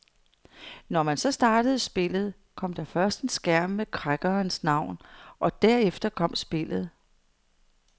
Når man så startede spillet, kom der først en skærm med crackerens navn og derefter kom spillet.